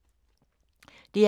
DR K